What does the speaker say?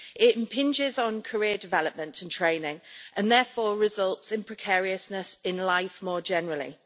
It impinges on career development and training and therefore results in precariousness in life more generally.